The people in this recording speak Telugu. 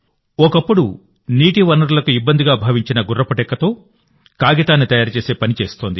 ఒకప్పుడు నీటి వనరులకు ఇబ్బందిగా భావించిన గుర్రం డెక్కతో కాగితాన్ని తయారు చేసే పని చేస్తోంది